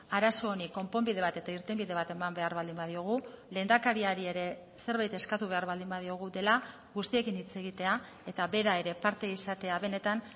arazo honi konponbide bat eta irtenbide bat eman behar baldin badiogu lehendakariari ere zerbait eskatu behar baldin badiogu dela guztiekin hitz egitea eta bera ere parte izatea benetan